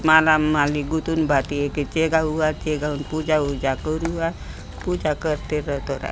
माला माली गुतून बाती जेका हुआ जे का पूजा वुजा करुआ पुजा करते रहते र--